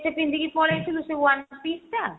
ଟେ ପିନ୍ଧିକି ପଳେଇଆସିଲୁ ସେ one piece ଟା